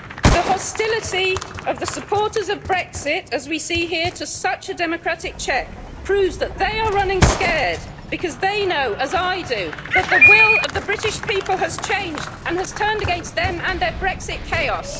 The hostility of the supporters of Brexit as we see here to such a democratic check proves that they are running scared because they know, as I do, that the will of the British people has changed and has turned against them and their Brexit chaos.